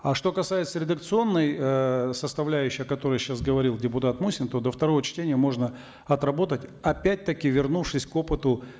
а что касается редакционной эээ составляющей о которой сейчас говорил депутат мусин то до второго чтения можно отработать опять таки вернувшись к опыту